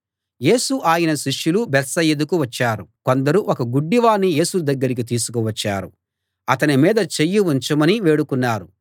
యేసు ఆయన శిష్యులు బేత్సయిదాకు వచ్చారు కొందరు ఒక గుడ్డివాణ్ణి యేసు దగ్గరికి తీసుకు వచ్చారు అతని మీద చెయ్యి ఉంచమని వేడుకున్నారు